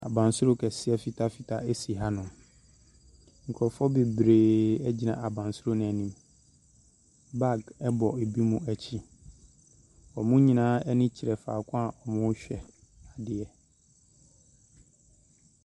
Abansoro kɛseɛ fitafita si hanom, nkurɔfoɔ bebree gyina abansoro no anim, baage bɔ binom akyi, wɔn nyinaa ani kyerɛ faako wɔrehwɛ adeɛ.